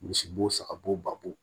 Misi bo saga bo ba bo